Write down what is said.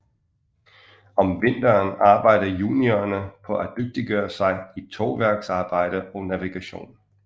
Om vinteren arbejder juniorerne på at dygtiggøre sig i tovværksarbejde og navigation